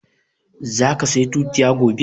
Za ka saya tutiya gobe?